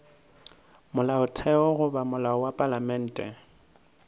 molaotheo goba molao wa palamente